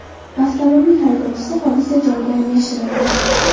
Avtomobil haydovchisi hodisa joyidan yashirindi.